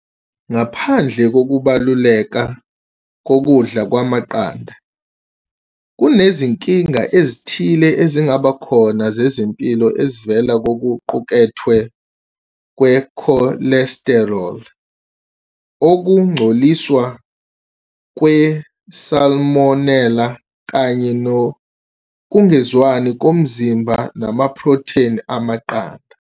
Ngaphandle kokubaluleka kokudla kwamaqanda, kunezinkinga ezithile ezingaba khona zezempilo ezivela kokuqukethwe kwe-cholesterol, ukungcoliswa kwe-salmonella, kanye nokungezwani komzimba namaprotheni amaqanda.